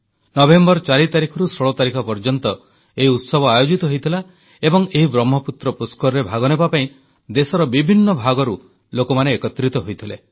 November 4 ତାରିଖରୁ 16 ତାରିଖ ପର୍ଯ୍ୟନ୍ତ ଏହି ଉତ୍ସବ ଆୟୋଜିତ ହୋଇଥିଲା ଏବଂ ଏହି ବ୍ରହ୍ମପୁତ୍ର ପୁଷ୍କରରେ ଭାଗନେବା ପାଇଁ ଦେଶର ବିଭିନ୍ନ ଭାଗରୁ ଲୋକମାନେ ଏକତ୍ରିତ ହୋଇଥିଲେ